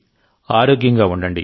ఆరోగ్యంగా ఉండండి